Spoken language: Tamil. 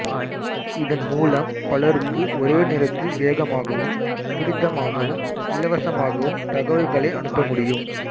இதன்மூலம் பலருக்கு ஒரே நேரத்தில் வேகமாகவும் துரிதமாகவும் இலவசமாகவும் தகவல்களை அனுப்பமுடியும்